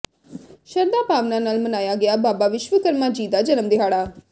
ਸ਼ਰਧਾ ਭਾਵਨਾ ਨਾਲ ਮਨਾਇਆ ਗਿਆ ਬਾਬਾ ਵਿਸ਼ਵਕਰਮਾ ਜੀ ਦਾ ਜਨਮ ਦਿਹਾੜਾ